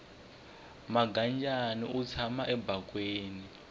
mangadyani wu tshama ebakweni